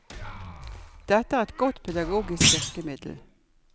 Dette er et godt pedagogisk virkemiddel.